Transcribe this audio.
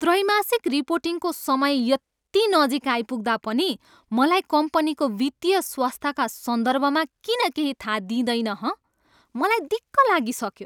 त्रैमासिक रिपोर्टिङको समय यति नजिक आइपुग्दा पनि मलाई कम्पनीको वित्तीय स्वास्थ्यका सन्दर्भमा किन केही थाहा दिइँदैन, हँ? मलाई दिक्क लागिसक्यो।